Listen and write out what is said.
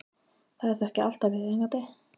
Það er þó ekki alltaf viðeigandi.